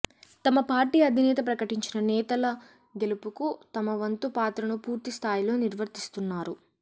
తమ పార్టీ అధినేత ప్రకటించిన నేతల గెలుపుకు తమవంతు పాత్రను పూర్తిస్థాయిలో నిర్వర్తిస్తున్నారు